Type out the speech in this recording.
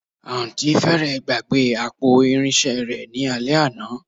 Àǹtí fẹ́rẹ̀ẹ́ gbàgbé àpò irinṣẹ́ rẹ ní alẹ́ àná